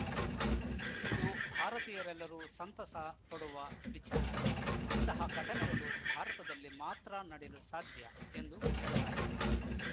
ಇದು ಭಾರತೀಯರೆಲ್ಲರೂ ಸಂತಸ ಪಡುವ ವಿಚಾರ ಇಂತಹ ಘಟನೆಗಳು ಭಾರತದಲ್ಲಿ ಮಾತ್ರ ನಡೆಯಲು ಸಾಧ್ಯ ಎಂದು ಹೇಳಲಾಗಿದೆ